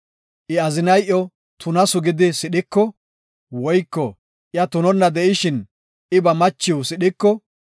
I azinay iyo tunasu gidi sidhiko, woyko iya tunonna de7ishin I ba machiw sidhiko,